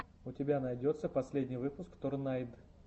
у тебя найдется последний выпуск торнайд